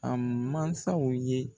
A mansaw ye.